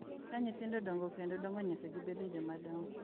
Ka nyithindo dongo kendo dongo nyaka gibedo jomadongo,